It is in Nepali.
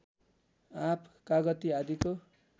आँप कागति आदिको